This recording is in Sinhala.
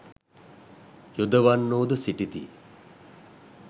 යොදවන්නෝ ද සිටිති.